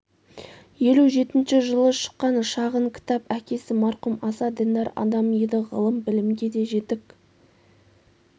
елу жетінші жылы шыққан шағын кітап әкесі марқұм аса діндар адам еді ғылым білімге де жетік